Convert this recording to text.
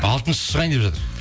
алтыншысы шығайын деп жатыр